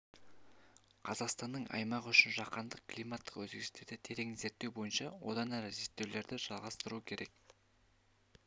қазақстанның аймағы үшін жаһандық климаттық өзгерістерді терең зерттеу бойынша одан әрі зерттеулерді жалғастыру керек